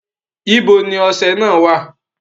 Ibo ni ọṣẹ náà wà?